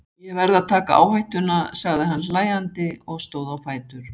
Ég verð að taka áhættuna, sagði hann hlæjandi og stóð á fætur.